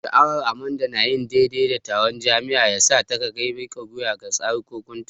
Sha'awar Amanda na yin daidai da taron jama'a ya sa ta kai ga mika wuya ga tsarekunta.